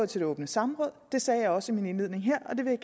til det åbne samråd det sagde jeg også i min indledning her og det vil